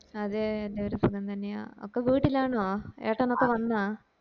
അതേ എല്ലാരും സുഖം തന്നെയാ അക്ക വീട്ടില് ആണോ ഏട്ടനൊക്കെ വന്നോ